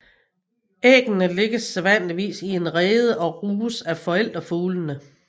Æggene lægges sædvanligvis i en rede og ruges af forældrefuglene